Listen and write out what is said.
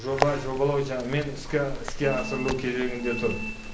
жоба жобалау іске іске асырылу кезегінде тұр